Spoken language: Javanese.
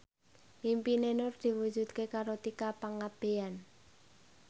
impine Nur diwujudke karo Tika Pangabean